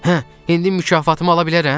Hə, indi mükafatımı ala bilərəm?